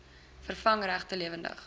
vervang regte lewendige